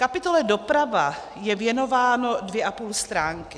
Kapitole doprava je věnováno dvě a půl stránky.